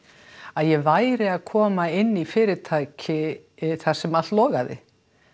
að ég væri að koma inn í fyrirtæki þar sem allt logaði